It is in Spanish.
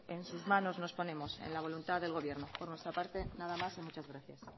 en sus manos nos ponemos en la voluntad del gobierno por nuestra parte nada más y muchas gracias